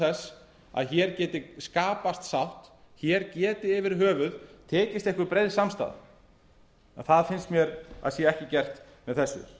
þess að hér geti skapast sátt hér geti yfir höfuð tekist einhver breið samstaða en það finnst mér að sé ekki gert með þessu